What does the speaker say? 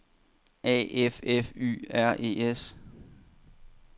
A F F Y R E S